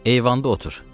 Eyvanda otur.